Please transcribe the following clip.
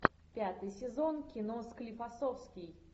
пятый сезон кино склифосовский